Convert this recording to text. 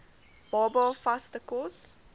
baba vaste kos